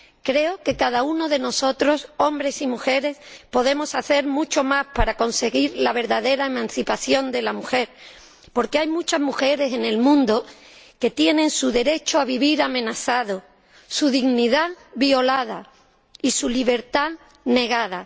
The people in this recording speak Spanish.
Creo que cada uno de nosotros, hombres y mujeres, podemos hacer mucho más para conseguir la verdadera emancipación de la mujer, porque hay muchas mujeres en el mundo que tienen su derecho a vivir amenazado, su dignidad violada y su libertad negada.